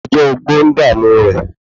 Ọjọ́ ogbó ń dààmú rẹ̀